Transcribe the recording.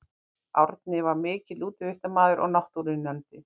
Árni var mikill útivistarmaður og náttúruunnandi.